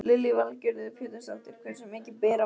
Lillý Valgerður Pétursdóttir: Hversu mikið ber í milli?